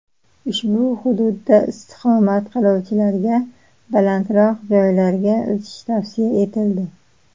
Ushbu hududda istiqomat qiluvchilarga balandroq joylarga o‘tish tavsiya etildi.